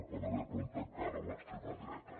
per haver plantat cara a l’extrema dreta